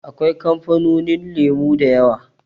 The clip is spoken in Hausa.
Akwai kamfanonin lemo da yawa.